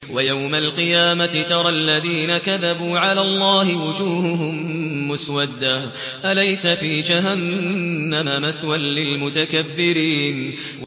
وَيَوْمَ الْقِيَامَةِ تَرَى الَّذِينَ كَذَبُوا عَلَى اللَّهِ وُجُوهُهُم مُّسْوَدَّةٌ ۚ أَلَيْسَ فِي جَهَنَّمَ مَثْوًى لِّلْمُتَكَبِّرِينَ